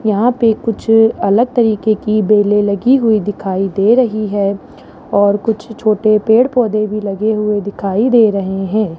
यहां पे कुछ अलग तरीके की बेले लगी हुई दिखाई दे रही है और कुछ छोटे पेड़ पौधे भी लगे हुए दिखाई दे रहे हैं।